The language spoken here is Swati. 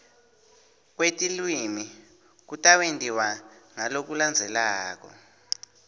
kwetilwimi kutawentiwa ngalokulandzelako